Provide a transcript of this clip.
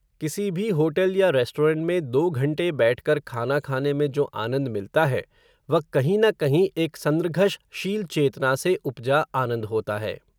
किसी भी होटल या रेस्टोरेन्ट में दो घण्टे बैठकर खाना खाने में जो आनन्द मिलता है, वह कहीं न कहीं, एक संर्घष शील चेतना से उपजा आनन्द होता है